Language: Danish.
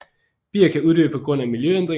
Bier kan uddø på grund af miljøændringer